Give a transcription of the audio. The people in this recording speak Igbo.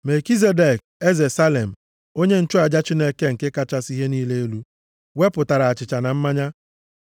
Melkizedek, eze + 14:18 Salem Eleghị anya, nke bụ aha ochie e ji mara obodo Jerusalem. Salem, onye nchụaja Chineke nke kachasị ihe niile elu, wepụtara achịcha na mmanya,